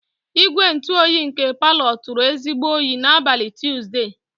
Igwe ntụ oyi nke parlor turu ezigbo oyi n'abalị Tuzdee.